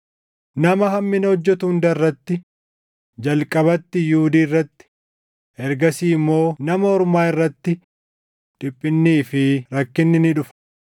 Nama hammina hojjetu hunda irratti, jalqabatti Yihuudii irratti, ergasii immoo Nama Ormaa irratti dhiphinnii fi rakkinni ni dhufa.